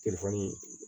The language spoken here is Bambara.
Telefɔni